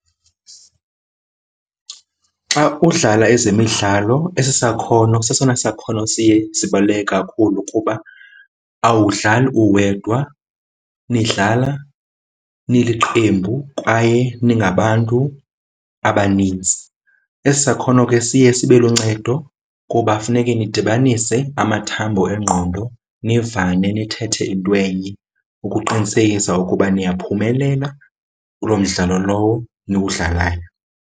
Xa udlala ezemidlalo esi sakhono sesona sakhono siye sibaluleke kakhulu kuba awudlali uwedwa, nidlala niliqembu kwaye ningabantu abanintsi. Esi sakhono ke siye sibe luncedo kuba funeke nidibanise amathambo engqondo, nivane nithethe into enye ukuqinisekisa ukuba niyaphumelela kuloo mdlalo lowo niwudlalayo.